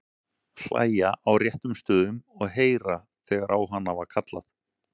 Hlæja á réttum stöðum og heyra þegar á hana var kallað.